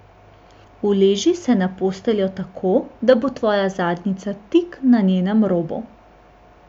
Uleži se na posteljo tako, da bo tvoja zadnjica tik na njenem robu.